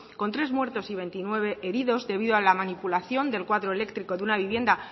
con tres muertos y veintinueve heridos debido a la manipulación del cuadro eléctrico de una vivienda